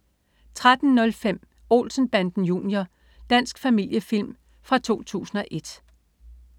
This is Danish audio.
13.05 Olsen Banden Junior. Dansk familiefilm fra 2001